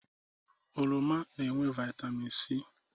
Oroma na-enwe vaịtamin C.